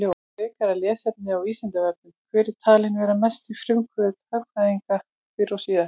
Frekara lesefni á Vísindavefnum: Hver er talinn vera mesti frumkvöðull hagfræðinnar fyrr og síðar?